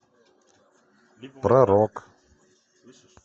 про рок